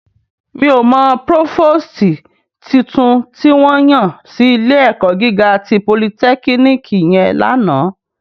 Mi ó mò prófóstì tútún tiwòn yán si ilé èkò gigá ti pólìtèkínìkí yèn làná